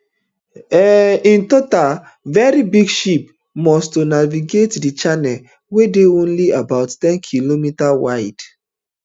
um in total very big ships must to navigate di channel wey dey only about ten km um wide